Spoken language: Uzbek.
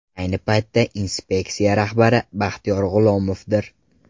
Ayni paytda inspeksiya rahbari Baxtiyor G‘ulomovdir.